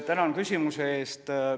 Tänan küsimuse eest!